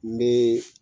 N bɛ